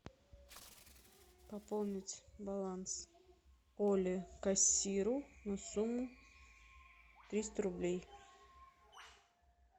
пополнить баланс оле кассиру на сумму триста рублей